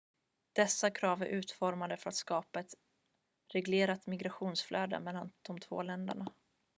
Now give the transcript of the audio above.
dessa krav är utformade för att skapa ett reglerat migrationsflöde mellan de två länderna